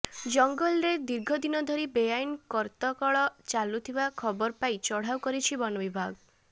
ଜଙ୍ଗଲରେ ଦାର୍ଘ ଦିନ ଧରି ବେଆଇନ କରତକଳ ଚାଲୁଥିବା ଖବର ପାଇ ଚଢାଉ କରିଛି ବନ ବିଭାଗ